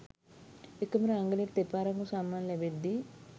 එකම රංගනයට දෙපාරක්ම සම්මාන ලැබෙද්දී